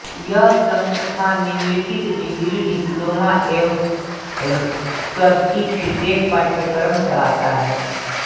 यह संस्थान निम्नलिखित डिग्री डिप्लोमा एवं स्सर्टिफिकेट पाठ्यक्रम चलाता है